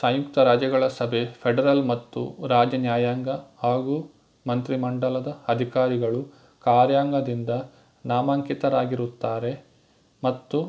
ಸಂಯುಕ್ತ ರಾಜ್ಯಗಳ ಸಭೆ ಫೆಡರಲ್ ಮತ್ತು ರಾಜ್ಯ ನ್ಯಾಯಾಂಗ ಹಾಗೂ ಮಂತ್ರಿಮಂಡಲದ ಅಧಿಕಾರಿಗಳು ಕಾರ್ಯಾಂಗದಿಂದ ನಾಮಾಂಕಿತರಾಗಿರುತ್ತಾರೆ ಮತ್ತು